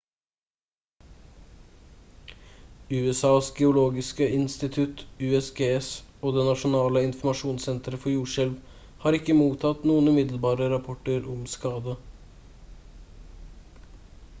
usas geologiske institutt usgs og det nasjonale informasjonssenteret for jordskjelv har ikke mottatt noen umiddelbare rapporter om skade